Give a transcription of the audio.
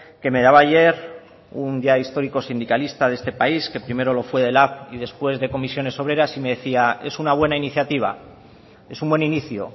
que me daba ayer un ya histórico sindicalista de este país que primero lo fue de lab y después de comisiones obreras y me decía es una buena iniciativa es un buen inicio